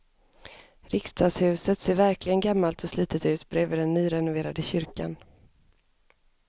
Riksdagshuset ser verkligen gammalt och slitet ut bredvid den nyrenoverade kyrkan.